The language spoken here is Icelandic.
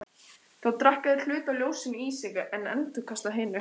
Þá drekka þeir hluta af ljósinu í sig en endurkasta hinu.